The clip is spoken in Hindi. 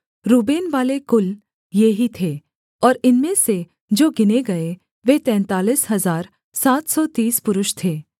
रूबेनवाले कुल ये ही थे और इनमें से जो गिने गए वे तैंतालीस हजार सात सौ तीस पुरुष थे